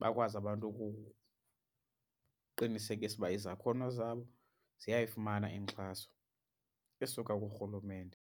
bakwazi abantu ukuqinisekisa ukuba izakhono zabo ziyayifumana inkxaso esuka kuRhulumente.